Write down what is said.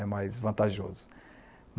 É mais vantajoso.